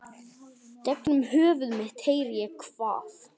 Gegnum höfuð mitt heyri ég hvað